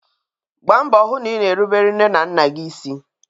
Gbaa mbọ hụ na ina erubelu nne na nna gị isi!